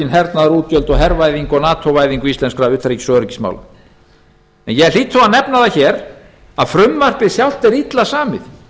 hernaðarútgjöld hervæðingu og nato væðingu íslenskra utanríkis og öryggismála ég hlýt þó að nefna það hér að frumvarpið sjálft er illa samið